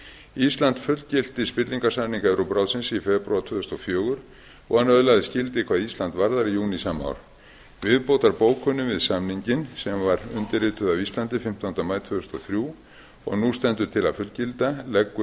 ísland fullgilti spillingarsamning evrópuráðsins í febrúar tvö þúsund og fjögur og hann öðlaðist gildi hvað ísland varðar í júní sama ár viðbótarbókun við samninginn sem var undirrituð af íslandi fimmtánda maí tvö þúsund og þrjú og nú stendur til að fullgilda leggur